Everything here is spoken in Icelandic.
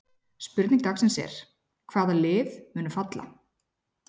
Spurning dagsins er: Hvaða lið munu falla?